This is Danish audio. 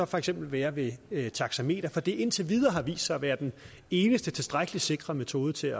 for eksempel være ved et taxameter fordi det indtil videre har vist sig at være den eneste tilstrækkelig sikre metode til